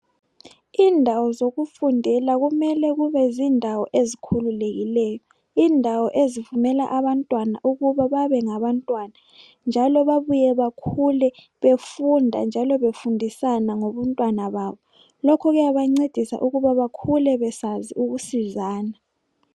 Indawo zokufundela kumele kube zindawo ezikhululekileyo, indawo ezivumela abantwana ukuba babengabantwana njalo babuye bakhule befunda njalo befundisana ngobuntwana babo, lokhu kuyabancedisa ukuthi bakhule besazi ukusizana.